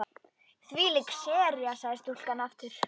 Þvílík sería sagði stúlkan aftur.